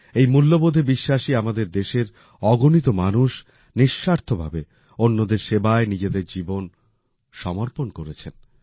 এই মূল্যবোধে বিশ্বাসী আমাদের দেশের অগণিত মানুষ নিঃস্বার্থভাবে অন্যদের সেবায় নিজেদের জীবন সমর্পণ করেছেন